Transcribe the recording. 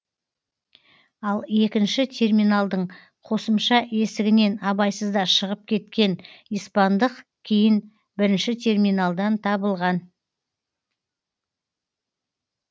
ал екінші терминалдың қосымша есігінен абайсызда шығып кеткен испандық кейін бірінші терминалдан табылған